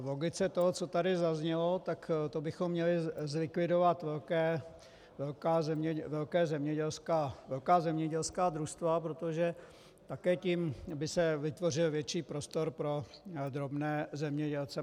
V logice toho, co tady zaznělo, tak to bychom měli zlikvidovat velká zemědělská družstva, protože také tím by se vytvořil větší prostor pro drobné zemědělce.